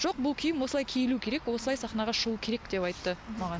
жоқ бұл киім осылай киілуі керек осылай сахнаға шығуы керек деп айтты маған